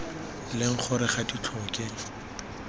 leng gore ga di tlhoke